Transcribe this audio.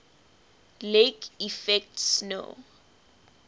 lake effect snow